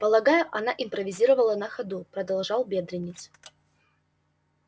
полагаю она импровизировала на ходу продолжал бедренец